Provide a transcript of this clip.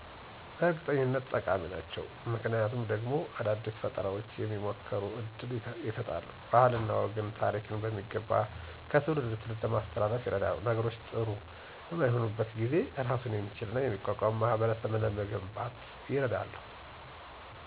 በእርግጠኝነት ጠቃሚ ናቸው። ምክንያቱ ደግሞ አዳዲስ ፈጠራዎች እንዲሞከሩ እድል ይሰጣሉ፣ ባህልንና ወግን፣ ታሪክን በሚገባ ከትውልድ ወደ ትውልድ ለማስተላለፍ ይረዳሉ። ነገሮች ጥሪ በማይሆኑበት ጊዜ እራሱን የሚችልና የሚቋቋም ማህበረሰብ ለመገንባት ይረዳሉ።